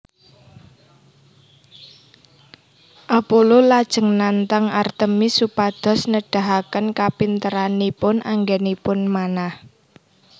Apollo lajeng nantang Artemis supados nedahaken kapinteranipun anggènipun manah